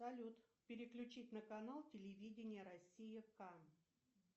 салют переключить на канал телевидение россия кам